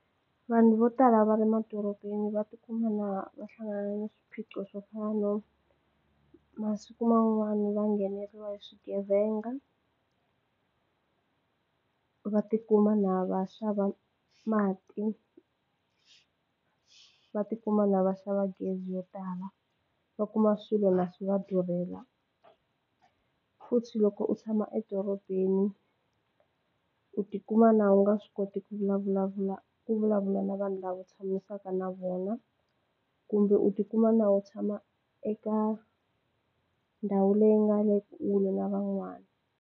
Vanhu vo tala va le madorobeni va tikuma na va hlangane ni swiphiqo swo fana no masiku man'wani va ngheneriwa hi swigevenga va tikuma na va xava mati va tikuma na va xava gezi yo tala va kuma swilo na swi va durhela futhi loko u tshama edorobeni u tikuma na u nga swi koti ku vulavula ku vulavula na vanhu lava u tshamisaka na vona kumbe u tikuma na u tshama eka ndhawu leyi nga le kule na van'wana.